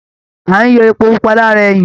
À ń yọ Epo pupa lára ẹyìn